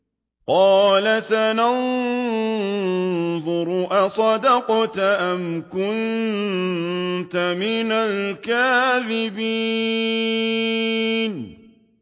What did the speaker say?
۞ قَالَ سَنَنظُرُ أَصَدَقْتَ أَمْ كُنتَ مِنَ الْكَاذِبِينَ